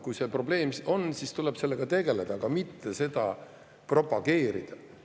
Kui see probleem on, siis tuleb sellega tegeleda, aga mitte seda propageerida.